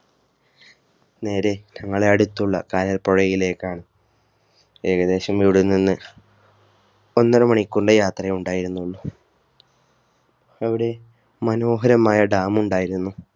നേരെ ഞങ്ങളുടെ അടുത്തുള്ള കായ പുഴയിലേക്കാണ് ഏകദേശം ഇവിടെ നിന്ന് ഒന്നരമണിക്കൂറിന്റെ യാത്രയെ ഉണ്ടായിരുന്നുള്ളൂ അവിടെ മനോഹരമായ Dam ഉംണ്ടായിരുന്നു